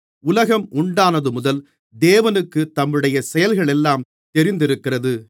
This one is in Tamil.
உலகம் உண்டானதுமுதல் தேவனுக்குத் தம்முடைய செயல்களெல்லாம் தெரிந்திருக்கிறது